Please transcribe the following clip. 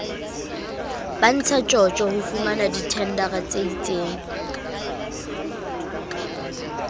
ba ntshatjotjo ho fumanadithendara tseitseng